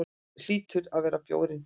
Hlýtur að vera bjórinn.